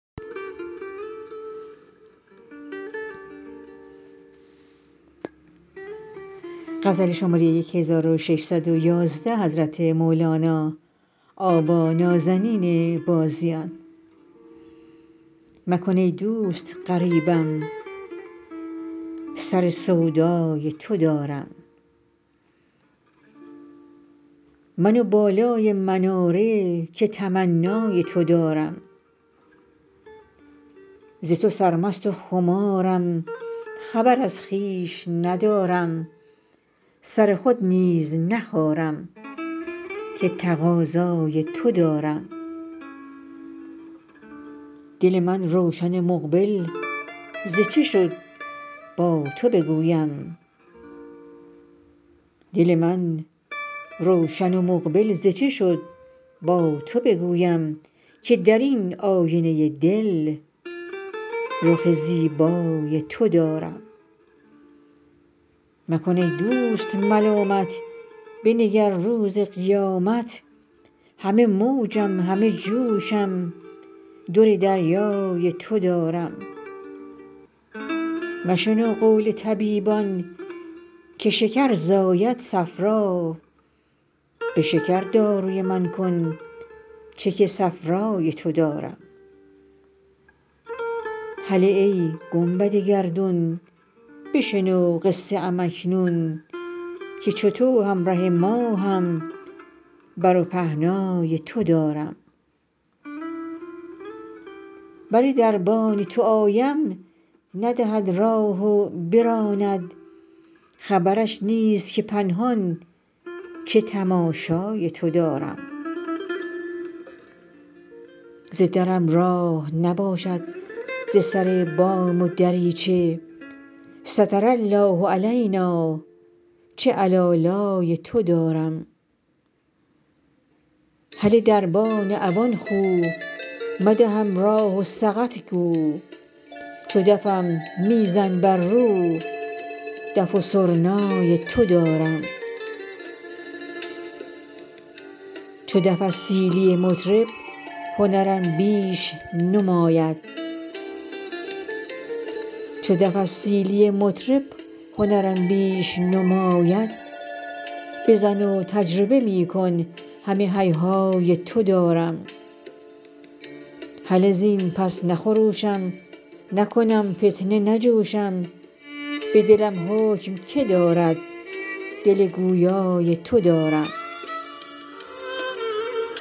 مکن ای دوست غریبم سر سودای تو دارم من و بالای مناره که تمنای تو دارم ز تو سرمست و خمارم خبر از خویش ندارم سر خود نیز نخارم که تقاضای تو دارم دل من روشن و مقبل ز چه شد با تو بگویم که در این آینه دل رخ زیبای تو دارم مکن ای دوست ملامت بنگر روز قیامت همه موجم همه جوشم در دریای تو دارم مشنو قول طبیبان که شکر زاید صفرا به شکر داروی من کن چه که صفرای تو دارم هله ای گنبد گردون بشنو قصه ام اکنون که چو تو همره ماهم بر و پهنای تو دارم بر دربان تو آیم ندهد راه و براند خبرش نیست که پنهان چه تماشای تو دارم ز درم راه نباشد ز سر بام و دریچه ستر الله علینٰا چه علالای تو دارم هله دربان عوان خو مدهم راه و سقط گو چو دفم می زن بر رو دف و سرنای تو دارم چو دف از سیلی مطرب هنرم بیش نماید بزن و تجربه می کن همه هیهای تو دارم هلهزین پس نخروشم نکنم فتنه نجوشم به دلم حکم کی دارد دل گویای تو دارم